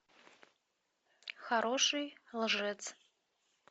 хороший лжец